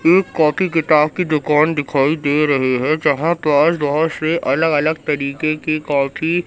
एक कॉपी किताब की दुकान दिखाई दे रहे है जहां पास बहुत से अलग अलग तरीके के कॉपी --